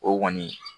O kɔni